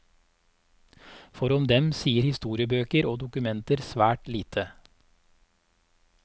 For om dem sier historiebøker og dokumenter svært lite.